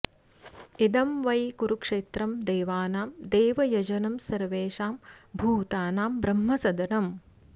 इदं वै कुरुक्षेत्रं देवानां देवयजनं सर्वेषां भूतानां ब्रह्मसदनम्